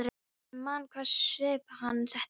Og ég man hvaða svip hann setti upp.